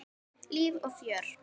Líf og fjör.